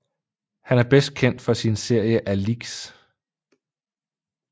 Han er bedst kendt for sin serie Alix